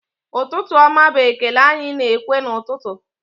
Ụtụtụ ọma bụ ekele anyị na-ekwu n'ụtụtụ